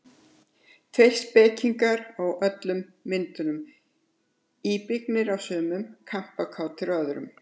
Tveir spekingar á öllum myndunum, íbyggnir á sumum, kampakátir á öðrum.